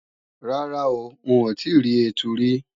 Rárá, n ò tíì rí ẹtu rí